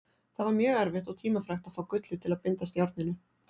Það var mjög erfitt og tímafrekt að fá gullið til að bindast járninu.